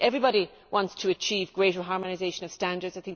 Everybody wants to have greater harmonisation of standards.